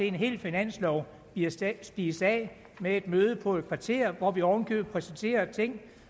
en hel finanslov spist af spist af med et møde på et kvarter hvor vi oven i købet præsenterede ting